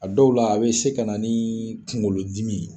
A dɔw la a be se ka na ni kunkolodimi ye.